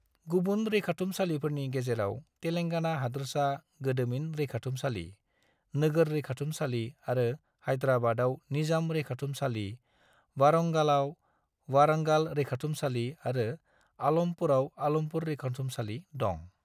गुबुन रैखाथुमसालिफोरनि गेजेराव तेलेंगाना हादोरसा गोदोमिन रैखाथुमसालि, नोगोर रैखाथुमसालि आरो हायद्राबादाव निजाम रैखाथुमसालि, वारंगालाव वारंगाल रैखाथुमसालि आरो आलमपुराव आलमपुर रैखाथुमसालि दं।